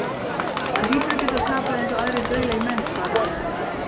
Hann hlýtur að geta tapað eins og aðrir dauðlegir menn, svaraði Ari.